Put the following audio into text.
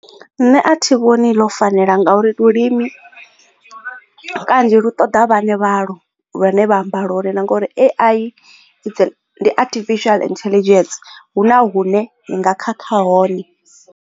Nṋe a thi vhoni ḽo fanela ngauri lulimi kanzhi lu ṱoḓa vhaṋe vhalo lune vha amba lwone na ngori AI ndi artificial intelligence hu na hune ni nga khakha hone.